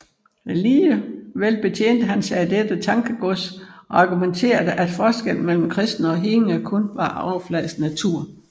Alligevel betjente han sig af dette tankegods og argumenterede at forskellen mellem kristne og hedninge kun var af overfladisk natur